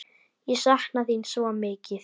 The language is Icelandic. Ég sakna þín svo mikið.